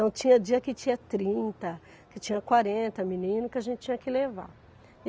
Então tinha dia que tinha trinta, que tinha quarenta meninos que a gente tinha que levar.